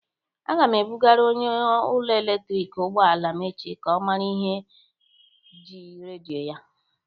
Aga m ebụgara onye ụlọ eletriki ụgbọala m echi ka ọ mara ihe ji redio ya.